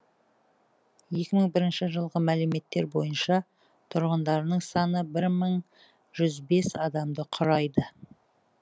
екі мың бірінші жылғы мәліметтер бойынша тұрғындарының саны бір мың жүз бес адамды құрайды